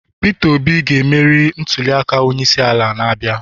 Peter Obi ga-emeri na ntuliaka onyeisiala na-abịa